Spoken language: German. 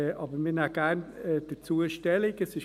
Wir nehmen trotzdem gerne Stellung dazu.